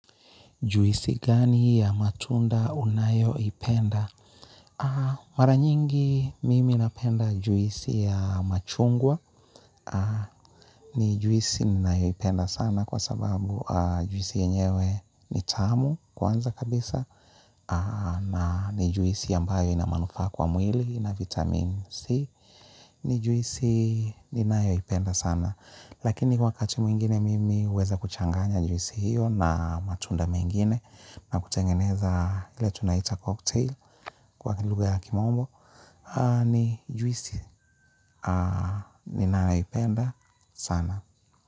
Juisi gani ya matunda unayo ipenda? Mara nyingi mimi napenda juisi ya machungwa. Ni juisi ninayo ipenda sana kwa sababu juisi yenyewe ni tamu kwanza kabisa. Na ni juisi ambayo inamanufaa kwa mwili na vitamin C. Ni juisi ninayo ipenda sana. Lakini wakati mwingine mimi huweza kuchanganya juisi hiyo na matunda mengine. Na kutengeneza ile tunaita cocktail kwa kilugha ya kimombo ni juisi, ni nayoipenda sana.